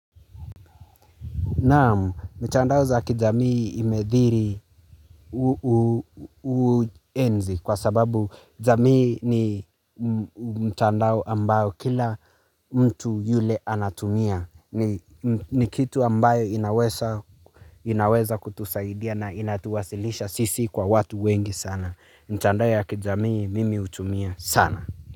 Naam, mtandao za kijamii imedhiri uenzi kwa sababu jamii ni mtandao ambao kila mtu yule anatumia. Ni kitu ambayo inaweza kutusaidia na inatuwasilisha sisi kwa watu wengi sana. Mtandao ya kijamii mimi hutumia sana.